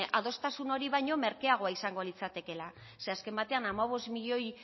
adostasun hori baino merkeagoa izango litzatekeela ze azken batean hamabost milioi